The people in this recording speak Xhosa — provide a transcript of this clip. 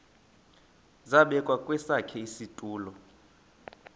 zabekwa kwesakhe isitulo